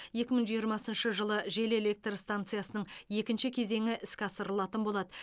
екі мың жиырмасыншы жылы жел электр станциясының екінші кезеңі іске асырылатын болады